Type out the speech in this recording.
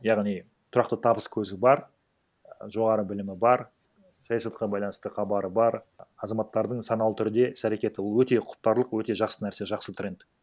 яғни тұрақты табыс көзі бар жоғары білімі бар саясатқа байланысты хабары бар азаматтардың саналы түрде іс әрекеті ол өте құптарлық өте жақсы нәрсе жақсы тренд